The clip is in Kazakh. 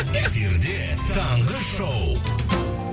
эфирде таңғы шоу